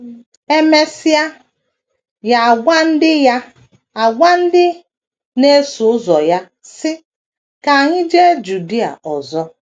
E mesịa, ya agwa ndị ya agwa ndị na - eso ụzọ ya, sị: “ Ka anyị jee Judia ọzọ. ”